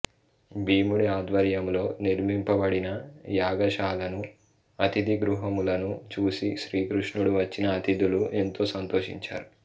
భీముడి ఆధ్వర్యములో నిర్మింపబడిన యాగశాలను అతిథిగృహములను చూసి శ్రీకృష్ణుడు వచ్చిన అతిథులు ఎంతో సంతోషించారు